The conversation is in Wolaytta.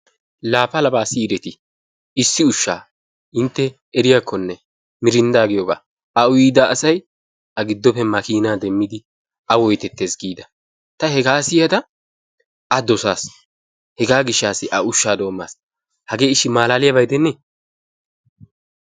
Laa palabaa siyidetii? Issi ushshaa intte eriyaakkonne mirinddaa giyoogaa? A uyida asay a giddoppe makiinaa demmidi a woyitettes giida. Ta hegaa siyada a dosaas. Hegaa gishshaassi a ushshaa doommas. Hagee ishshi maalaaliyaba gidenne?